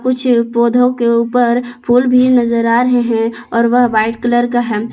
कुछ पौधों के ऊपर फूल भी नजर आ रहे हैं और वह वाइट कलर का हेम --